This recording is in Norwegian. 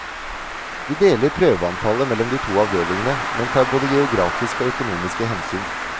Vi deler prøveantallet mellom de to avdelingene, men tar både geografiske og økonomiske hensyn.